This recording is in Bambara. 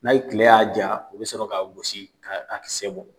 N'a ye kile ya ja, u bi sɔrɔ ka gosi ka kisɛ bɔ.